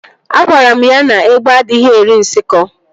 Agwara m ya na égbé adịghị eri nsikọ